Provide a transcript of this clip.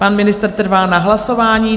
Pan ministr trvá na hlasování.